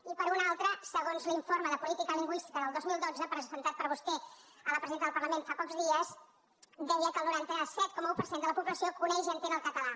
i per una altra segons l’informe de política lingüística del dos mil dotze presentat per vostè a la presidenta del parlament fa pocs dies deia que el noranta set coma un per cent de la població coneix i entén el català